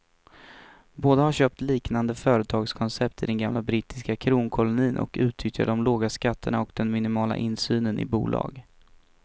Båda har köpt liknande företagskoncept i den gamla brittiska kronkolonin och utnyttjar de låga skatterna och den minimala insynen i bolag.